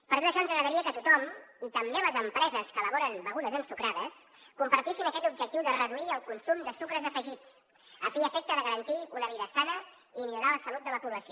per tot això ens agradaria que tothom i també les empreses que elaboren begudes ensucrades compartissin aquest objectiu de reduir el consum de sucres afegits a fi i efecte de garantir una vida sana i millorar la salut de la població